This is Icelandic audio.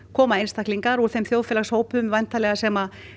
koma einstaklingar úr þeim hópum sem